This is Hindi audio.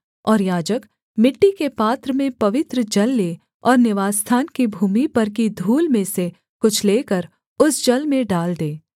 और याजक मिट्टी के पात्र में पवित्र जल ले और निवासस्थान की भूमि पर की धूल में से कुछ लेकर उस जल में डाल दे